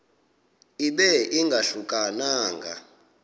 ibe ingahluka nanga